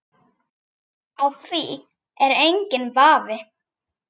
Á því er enginn vafi.